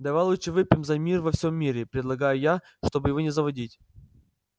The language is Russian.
давай лучше выпьем за мир во всём мире предлагаю я чтобы его не заводить